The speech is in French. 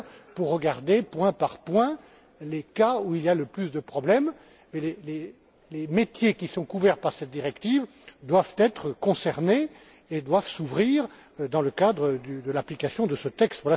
Toutefois, les métiers qui sont couverts par cette directive doivent la respecter et doivent s'ouvrir dans le cadre de l'application de ce texte.